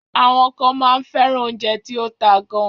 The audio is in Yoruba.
Àwọn kan máa ń fẹ́ràn oúnjẹ tí ó ta gan.